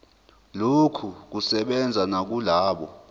lokhu kusebenza nakulabo